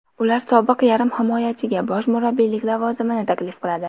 Ular sobiq yarim himoyachiga bosh murabbiylik lavozimini taklif qiladi.